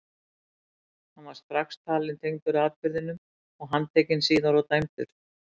Hann var strax talinn tengdur atburðinum og handtekinn og síðar dæmdur.